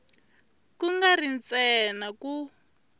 ku nga ri ntsena ku